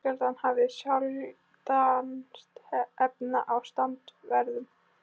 Fjölskyldan hafði sjaldnast efni á strandferðum.